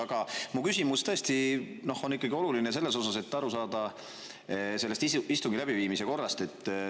Aga mu küsimus tõesti on oluline, et aru saada istungi läbiviimise korrast.